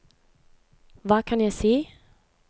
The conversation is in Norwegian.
hva kan jeg si